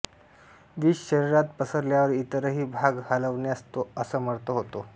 विष शरीरात पसरल्यावर इतरही भाग हलवण्यास तो असमर्थ होतो